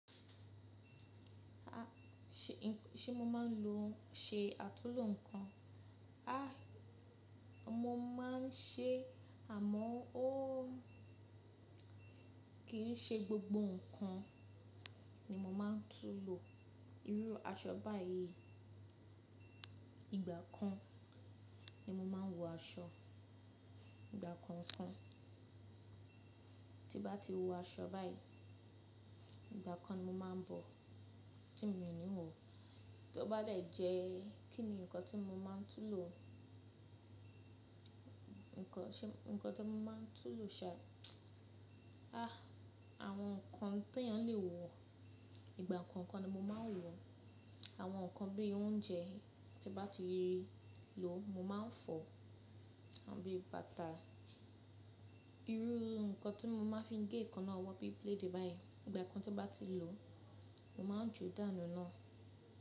A, ṣé mo máa ń lo ṣe àtunlò ǹkan? A, mo máa ń ṣe e àmọ́o ó kí n ṣe gbogbo ǹkan ni mo máa ń tún lò. Irú aṣọ báyìí ìgbà kan ni mo máa ń wọ aṣọ, ìgbà kọ̀ọ̀kan. Tí bá ti wọ aṣọ báyìí, ìgbà kan ni mo máa ń bọ̀ tí mo n wọ̀. Tí ó bá de jẹ́ kí ni ǹkan tí mo máa ń tún lò? Ǹkan tí mo máa ń tú ln lò ṣá, a, àwọn ǹkan tí èèyàn lè wọ, ìgbà kọ̀ọ̀kan ni mo máa ń wọ. Àwọn ǹkan bí i oúnjẹ tí bá ti lò mo máa ń fọ̀, àbí bàtà. Irú ǹkan tí mo máa fi ń gé èékánná owọ bí i bileeei báyìí ìgbà kan tí bá ti lò, mo máa ń ju dànù nii.